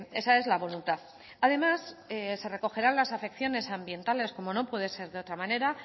esa es la voluntad además se recogerán las afecciones ambientales como no puede ser de otra manera